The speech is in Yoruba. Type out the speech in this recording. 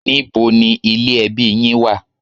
Níbo ni ilé ẹbí yín wà?